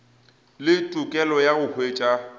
le tokelo ya go hwetša